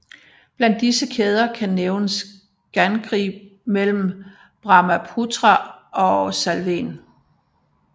Blandt disse kæder kan nævnes Gangri mellem Brahmaputra og Salwen